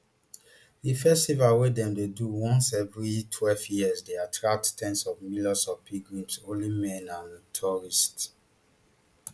di festival wey dem dey do once every twelve years dey attract ten s of millions of pilgrims holy men and tourists